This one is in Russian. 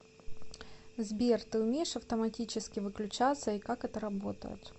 сбер ты умеешь автоматически выключаться и как это работает